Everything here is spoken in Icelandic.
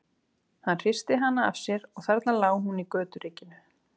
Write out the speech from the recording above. Hann hristi hana af sér og þarna lá hún í göturykinu.